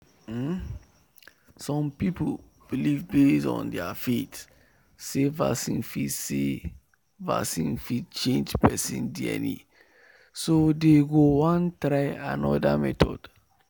um some people believe base on their faith say vaccine fit say vaccine fit change person dna so them go won try another method